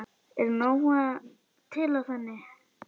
Er nóg til af henni?